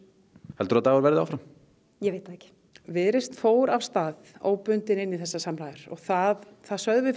heldurðu að Dagur verði áfram ég veit það ekki viðreisn fór óbundin inn í þessar samræður það það sögðum við